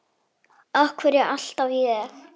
Af hverju alltaf ég?